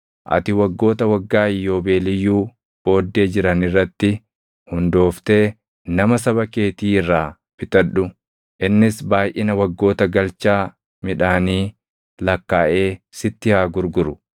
Ati waggoota waggaa Iyyoobeeliyyuu booddee jiran irratti hundooftee nama saba keetii irraa bitadhu. Innis baayʼina waggoota galchaa midhaanii lakkaaʼee sitti haa gurguru.